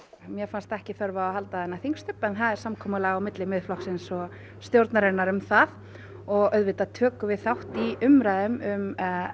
mér fannst ekki þörf á að halda þennan þingstubb en það er samkomulag á milli Miðflokksins og stjórnarinnar um það og auðvitað tökum við þátt í umræðum um